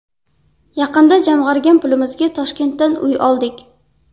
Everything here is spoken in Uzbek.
Yaqinda jamg‘argan pulimizga Toshkentdan uy oldik.